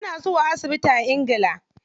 Suna zuwa asibiti a ingila.